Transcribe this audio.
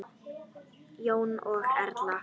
Jón og Erla.